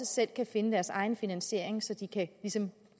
selv kan finde deres egen finansiering så de ligesom kan